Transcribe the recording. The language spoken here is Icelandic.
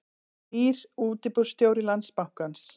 Nýr útibússtjóri Landsbankans